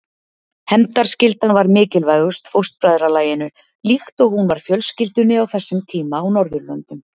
Hefndarskyldan var mikilvægust fóstbræðralaginu líkt og hún var fjölskyldunni á þessum tíma á Norðurlöndum.